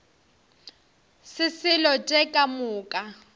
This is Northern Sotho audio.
se selo tše ka moka